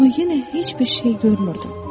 Amma yenə heç bir şey görmürdüm.